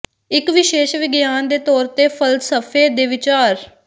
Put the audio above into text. ਇੱਕ ਵਿਸ਼ੇਸ਼ ਵਿਗਿਆਨ ਦੇ ਤੌਰ ਤੇ ਫ਼ਲਸਫ਼ੇ ਦੇ ਵਿਚਾਰ